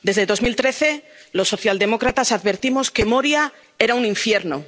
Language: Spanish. Desde 2013, los socialdemócratas hemos advertido que Moria era un infierno.